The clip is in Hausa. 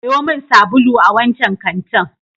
Sayo min sabulu a wancan kantin.